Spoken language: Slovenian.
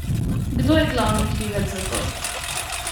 Kdo je glavni krivec za to?